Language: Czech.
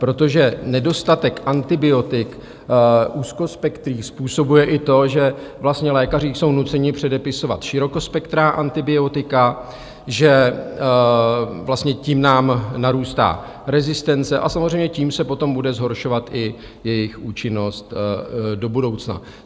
Protože nedostatek antibiotik úzkospektrých způsobuje i to, že vlastně lékaři jsou nuceni předepisovat širokospektrá antibiotika, že vlastně tím nám narůstá rezistence a samozřejmě tím se potom bude zhoršovat i jejich účinnost do budoucna.